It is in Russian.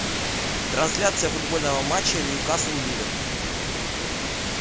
трансляция футбольного матча ньюкасл ливер